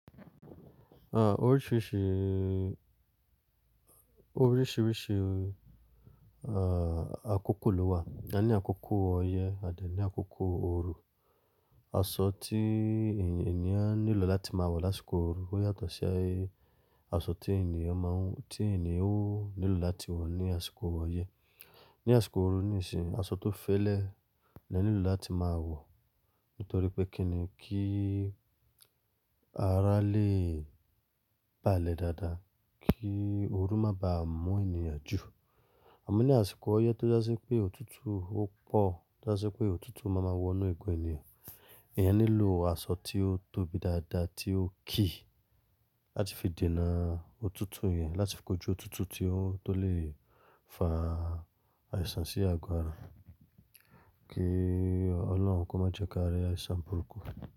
À, oríṣìíríṣìí, oríṣìíríṣìí, à, àkókò ló wà. A ní àkókò ọyẹ́ a dẹ̀ ní àkókò ooru. Aṣọ tí ènìyàn nílò láti máa wọ̀ lásìkò ooru ó yàtọ̀ sí Aṣọ tí ènìyàn máa ń-- tí ènìyàn ó nílò láti wọ̀ ní àsìkò ọyẹ́. Ní àsìkò ooru nì sínyi, aṣọ tó fẹ́lẹ́ ni a nílò láti máa wọ̀ nítorí pé kíni kí ara lè balẹ̀ dáadáa, kí ooru má ba à mú ènìyàn jù. Àmọ́ ní àsìkò ọyẹ́ tó jasí pé òtútù ó pọ̀, o jasí pé òtútù má ma wọ inú egun ènìyàn, èèyàn nílò aṣọ tí ó tóbi dáadáa, tí ó kií láti fi dènà òtútù yẹn, láti fi kojú òtútù tí ó tó lè fa àìsàn sí àgọ́ ara kí Ọlọ́run kó má jẹ kí a rí àìsàn burúkú.